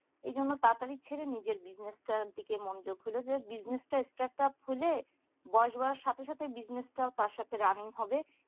এই জন্য তাড়াতাড়ি ছেড়ে সে নিজের business টার দিকে মনোযোগ খুঁজে যে business টা statup হলে বয়স বাড়ার সাথে সাথে business টা তার সাথে সাথে running হবে